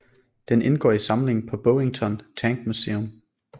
Den indgår i samlingen på Bovington Tank Museum